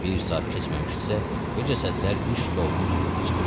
Bir saat keçməmişdisə, bu cəsədlər iş stolunun üstündə olacaqlar.